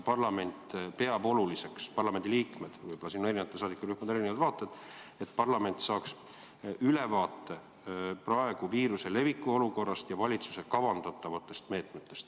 Parlamendiliikmed peavad oluliseks – kuigi võib-olla on eri saadikurühmadel siin erinevad vaated –, et parlament saaks ülevaate praegu viiruse leviku olukorrast ja valitsuse kavandatavatest meetmetest.